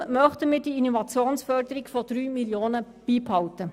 Deshalb möchten wir die Innovationsförderung von 3 Mio. Franken beibehalten.